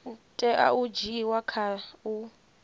tea u dzhiiwa kha u